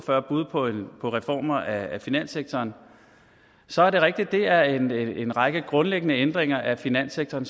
og fyrre bud på reformer af finanssektoren så er det rigtigt at det er en række grundlæggende ændringer af finanssektoren